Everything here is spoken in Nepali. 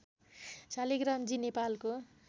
शालिग्राम जी नेपालको